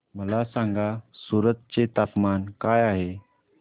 मला सांगा सूरत चे तापमान काय आहे